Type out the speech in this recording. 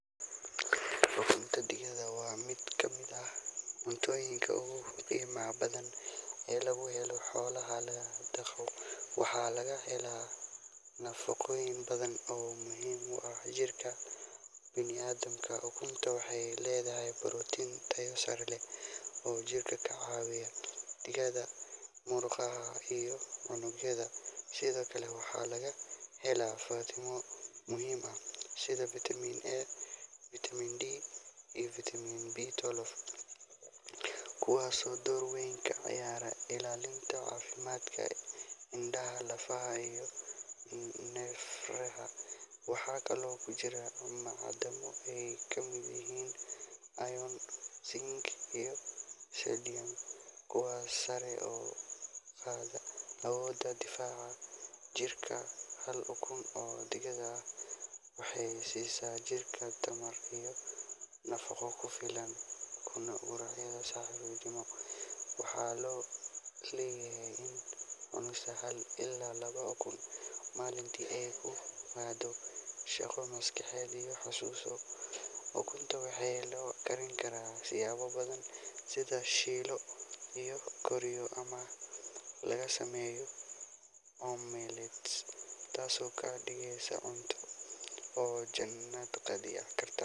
Ukunta digaagga waa mid ka mid ah cuntooyinka ugu qiimaha badan ee laga helo xoolaha la dhaqdo, waxaana laga helaa nafaqooyin badan oo muhiim u ah jirka bini’aadamka. Ukuntu waxay leedahay borotiin tayo sare leh oo jirka ka caawiya dhisidda murqaha iyo unugyada. Sidoo kale waxaa laga helaa fiitamiino muhiim ah sida Vitamin A, Vitamin D, iyo Vitamin B12, kuwaasoo door weyn ka ciyaara ilaalinta caafimaadka indhaha, lafaha iyo neerfaha. Waxaa kaloo ku jira macdano ay ka mid yihiin iron, zinc, iyo selenium, kuwaasoo sare u qaada awoodda difaaca jirka. Hal ukun oo digaag ah waxay siisaa jirka tamar iyo nafaqo ku filan quraacda subaxnimo, waxaana la og yahay in cunista hal ilaa laba ukun maalintii ay kor u qaaddo shaqada maskaxda iyo xasuusta. Ukunta waxaa loo karin karaa siyaabo badan sida la shiilo, la kariyo ama laga sameeyo omelet, taasoo ka dhigaysa cunto la jaanqaadi karta.